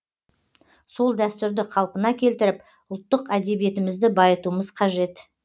сол дәстүрді қалпына келтіріп ұлттық әдебиетімізді байытуымыз қажет